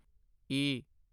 ਈ